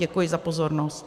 Děkuji za pozornost.